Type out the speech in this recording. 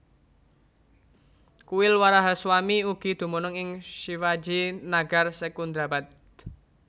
Kuil WarahaSwamy ugi dumunung ing Shivaji Nagar Secundrabad